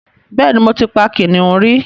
Bẹ́ẹ̀ ni, mo ti pa kìnnìún rí